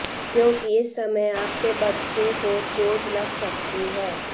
क्योंकि इस समय आपके बच्चे को चोट लग सकती है